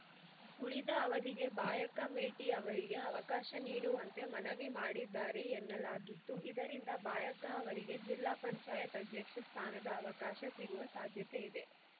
ಉಳಿದ ಅವಧಿಗೆ ಬಾಯಕ್ಕ ಮೇಟಿ ಅವರಿಗೆ ಅವಕಾಶ ನೀಡುವಂತೆ ಮನವಿ ಮಾಡಿದ್ದಾರೆ ಎನ್ನಲಾಗಿದ್ದು ಇದರಿಂದ ಬಾಯಕ್ಕ ಅವರಿಗೆ ಜಿಲ್ಲಾ ಪಂಚಾಯತ್ ಅಧ್ಯಕ್ಷ ಸ್ಥಾನದ ಅವಕಾಶ ಸಿಗುವ ಸಾಧ್ಯತೆ ಇದೆ